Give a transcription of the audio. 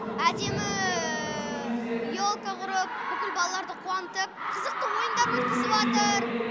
әдемі елка құрып бүкіл балаларды қуантып қызықты ойындар өткізіп